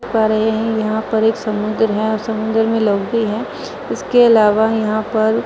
देख पा रहे हैं यहाँ पर एक समुद्र है और समुद्र में लोग भी है इसके अलावा यहाँ पर --